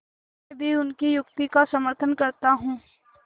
मैं भी उनकी युक्ति का समर्थन करता हूँ